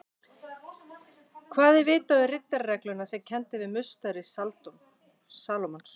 Hvað er vitað um riddararegluna sem kennd er við musteri Salómons?